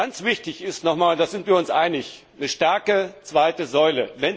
Ganz wichtig ist nochmal, da sind wir uns einig, eine starke zweite Säule.